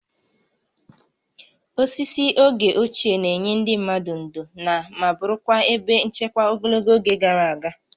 Osisi oge ochie na-enye ndị mmadụ ndò na ma bụrụkwa ebe nchekwa ogologo oge gara aga